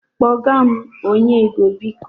Kpọga m onye ego, biko.